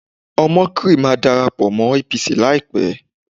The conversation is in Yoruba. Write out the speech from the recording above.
Omokri máa darapọ̀ mọ́ APC láìpẹ́